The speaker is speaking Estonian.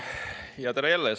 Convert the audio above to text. Tere jälle!